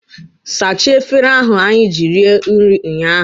Sachaa efere ahụ anyị ji rie nri ụnyaahụ!